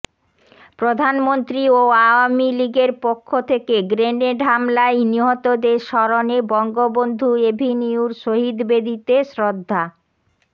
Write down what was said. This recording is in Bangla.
প্রধানমন্ত্রী ও আওয়ামী লীগের পক্ষ থেকে গ্রেনেড হামলায় নিহতদের স্মরণে বঙ্গবন্ধু এভিনিউর শহীদ বেদিতে শ্রদ্ধা